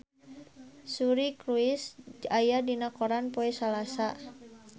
Suri Cruise aya dina koran poe Salasa